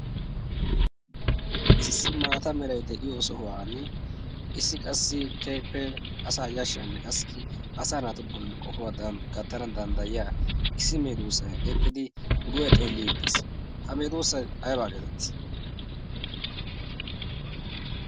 isissi maata meray de'iyo sohuwan issi qassi keehippee asa yashshiyaanne qassi asa naatu bolli qohuwaadan gattana danddayiya issi meeduusay eqqidi guye xeellii dees ha meedoossay aybaa geetettii